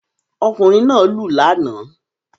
Ọkùnrin náà lù lánàá